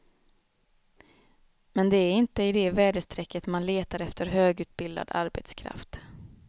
Men det är inte i det väderstrecket man letar efter högutbildad arbetskraft.